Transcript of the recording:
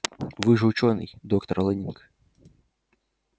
вы же учёный доктор лэннинг